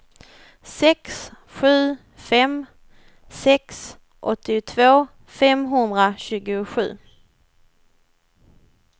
sex sju fem sex åttiotvå femhundratjugosju